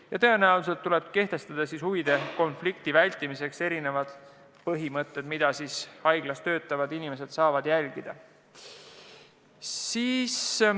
Ja tõenäoliselt tuleb kehtestada huvide konflikti vältimiseks kindlad põhimõtted, mida haiglas töötavad inimesed peavad järgima.